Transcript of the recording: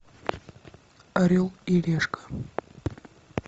орел и решка